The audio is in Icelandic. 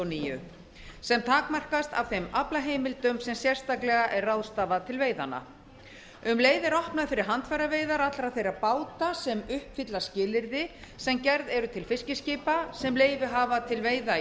níu sem takmarkast af þeim aflaheimildum sem sérstaklega er ráðstafað til veiðanna um leið er opnað fyrir handfæraveiðar allra þeirra báta sem uppfylla skilyrði sem gerð eru til fiskiskipa sem leyfi hafa til veiða í